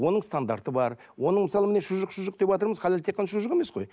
оның стандарты бар оның мысалы міне шұжық шұжық деватырмыз халал тек қана шұжық емес қой